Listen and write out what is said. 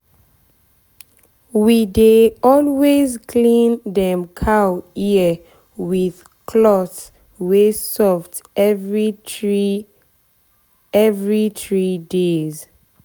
we dey always clean dem cow ear with cloth wey soft every three every three days.